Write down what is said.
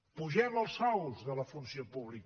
apugem els sous de la funció pública